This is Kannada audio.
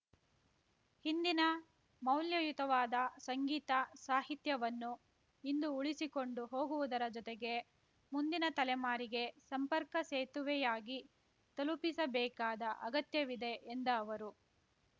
ಹಿಂದಿನ ಮೌಲ್ಯಯುತವಾದ ಸಂಗೀತ ಸಾಹಿತ್ಯವನ್ನು ಇಂದು ಉಳಿಸಿಕೊಂಡು ಹೋಗುವುದರ ಜೊತೆಗೆ ಮುಂದಿನ ತಲೆಮಾರಿಗೆ ಸಂಪರ್ಕ ಸೇತುವೆಯಾಗಿ ತಲುಪಿಸಬೇಕಾದ ಅಗತ್ಯವಿದೆ ಎಂದ ಅವರು